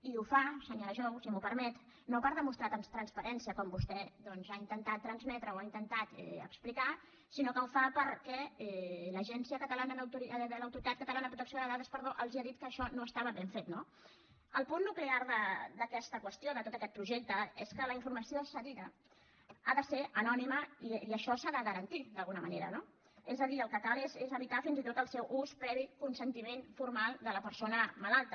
i ho fa senyora jou si m’ho permet no per demostrar transparència com vostè doncs ha intentat transmetre o ha intentat explicar sinó que ho fa perquè l’autoritat catalana de protecció de dades els ha dit que això no estava ben fet no el punt nuclear d’aquesta qüestió de tot aquest projecte és que la informació cedida ha de ser anònima i això s’ha de garantir d’alguna manera no és a dir el que cal és evitar fins i tot el seu ús previ al consentiment formal de la persona malalta